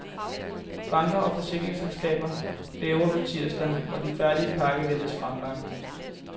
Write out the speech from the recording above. Banker og forsikringsselskaber bæver for tirsdag, hvor den færdige pakke ventes fremlagt.